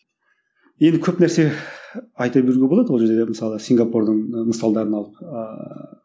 енді көп нәрсе айта беруге болады ол жерде мысалы сингапурдың ы мысалдарын алып ааа